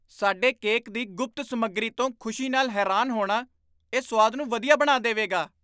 ਸਾਡੇ ਕੇਕ ਦੀ ਗੁਪਤ ਸਮੱਗਰੀ ਤੋਂ ਖੁਸ਼ੀ ਨਾਲ ਹੈਰਾਨ ਹੋਣਾ, ਇਹ ਸੁਆਦ ਨੂੰ ਵਧੀਆ ਬਣਾ ਦੇਵੇਗਾ